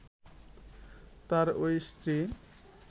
তার এই স্ত্রী